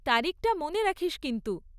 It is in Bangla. তারিখটা মনে রাখিস কিন্তু।